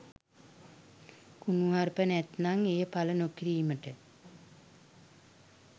කුණුහරුප නැත්නම් එය පල නොකිරීමට